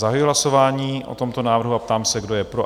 Zahajuji hlasování o tomto návrhu a ptám se, kdo je pro?